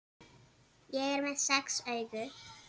Ég er með sex augu.